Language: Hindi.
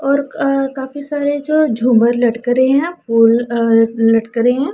और कह काफी सारे जो झूमर लटक रहे है वो अ ल लटक रहे है।